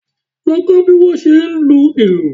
Lọ kọ́ bí wọ́n ṣe ń lu ìlù!